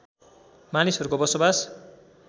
मानिसहरूको बसोबास